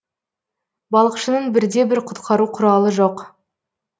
балықшының бірде бір құтқару құралы жоқ